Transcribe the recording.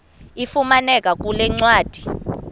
ifumaneka kule ncwadi